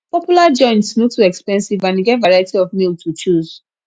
popular joints no too expensive and e get variety of meal to choose